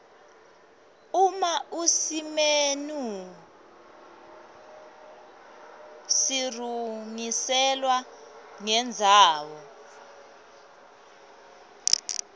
uma usimenu sirurgiselwa nendzawo